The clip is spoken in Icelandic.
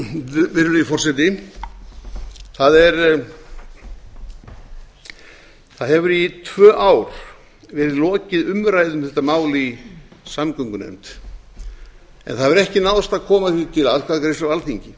virðulegi forseti það hefur í tvö ár verið lokið umræðu um þetta mál í samgöngunefnd en það hefur ekki náðst að koma því til atkvæðagreiðslu á alþingi